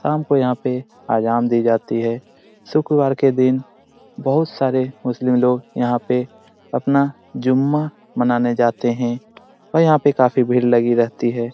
शाम को यहाँ पे आजान दी जाती है। शुक्रवार के दिन बहुत सारे मुस्लिम लोग यहाँ पे अपना जुम्मा मनाने जाते हैं और यहाँ पे काफी भीड़ लगी रहती है।